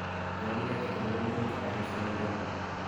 nyolu keteten ngwony koik ak kesemenden